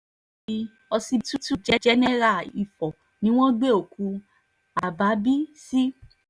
mòṣùárì ọsibítù jẹ́nẹ́ra ifo ni wọ́n gbé òkú habábéh sí